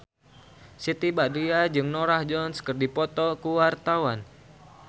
Siti Badriah jeung Norah Jones keur dipoto ku wartawan